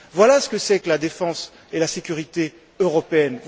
Voilà ce que sont la défense et la sécurité européennes.